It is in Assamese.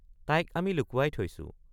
তাইক আমি লুকুৱাই থৈছো ।